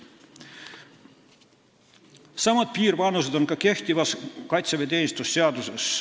Samad piirvanused on ka kehtivas kaitseväeteenistuse seaduses.